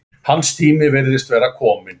Hans tími virðist vera kominn.